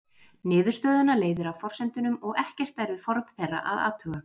Niðurstöðuna leiðir af forsendunum og ekkert er við form þeirra að athuga.